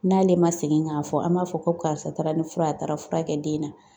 N'ale ma segin k'a fɔ an b'a fɔ ko karisa taara ni fura ye, a taara fura kɛ den na.